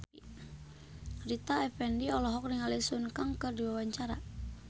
Rita Effendy olohok ningali Sun Kang keur diwawancara